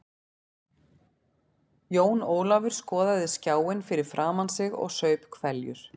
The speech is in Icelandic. Jón Ólafur skoðaði skjáinn fyrir framan sig og saup hveljur.